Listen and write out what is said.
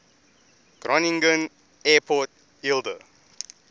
groningen airport eelde